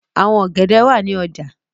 Àwọn ọ̀gẹ̀dẹ̀ wà ní ọjà.